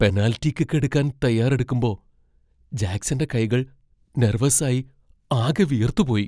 Penalty kick എടുക്കാൻ തയ്യാറെടുക്കുമ്പോ ജാക്സന്റെ കൈകൾ നെർവസ് ആയി ആകെ വിയർത്തുപോയി.